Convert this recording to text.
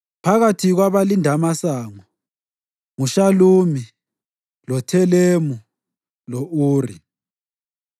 Phakathi kwabahlabeleli nampa: u-Eliyashibi. Phakathi kwabalindimasango: nguShalumi, loThelemu lo-Uri.